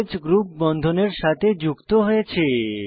o হ্ group বন্ধনের সাথে যুক্ত হয়েছে